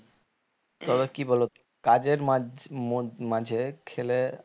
তবে কি বলতো কাজের মাঝ মো মাঝে খেলে